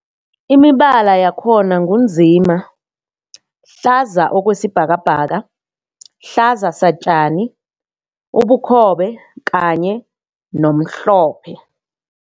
Imibala yakhona ngu nzima, hlaza okwesibhakabhaka, hlaza satjani, ubukhobe kanye nomhlophe.